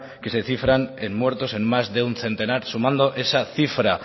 que se cifran en muertos en más de un centenar sumando esa cifra